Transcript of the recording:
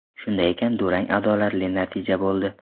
Shunday ekan, durang adolatli natija bo‘ldi.